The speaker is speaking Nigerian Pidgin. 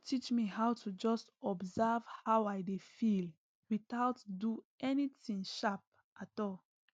e don teach me how to just observe how i dey feel without do anything sharp at all